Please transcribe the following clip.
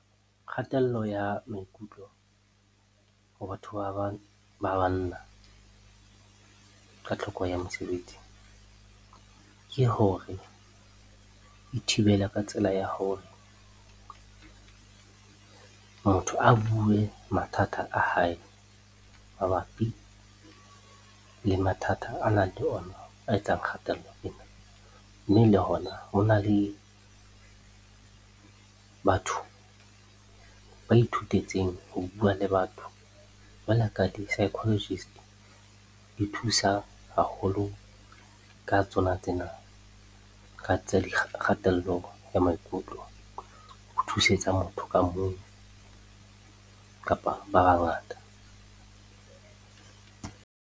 Kgatello ya maikutlo ho batho ba banna ka tlhokeho ya mosebetsi, ke hore e thibela ka tsela ya hore motho a bue mathata a hae mabapi le mathata a nang le ona a etsang kgatello ena. Mme le hona, hona le batho ba ithutetseng ho bua le batho jwalo ka di-psychologist. Di thusa haholo ka tsona tsena, ka tsa di kgatello ya maikutlo ho thusetsa motho ka mong kapa ba bangata.